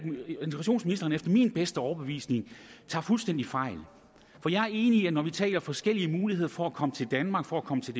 integrationsministeren efter min bedste overbevisning fuldstændig fejl for jeg er enig i at når vi taler om forskellige muligheder for at komme til danmark for at komme til